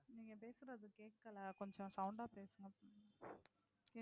நீங்க பேசுறது கேக்கல கொஞ்சம் sound ஆஹ் பேசுங்க please